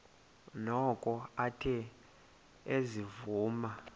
noko athe ezivuma